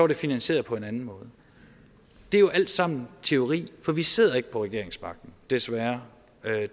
det finansieret på en anden måde det er jo alt sammen teori for vi sidder ikke på regeringsmagten desværre